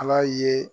Ala ye